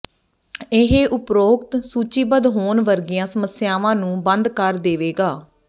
ਇਹ ਉਪਰੋਕਤ ਸੂਚੀਬੱਧ ਹੋਣ ਵਰਗੀਆਂ ਸਮੱਸਿਆਵਾਂ ਨੂੰ ਬੰਦ ਕਰ ਦੇਵੇਗਾ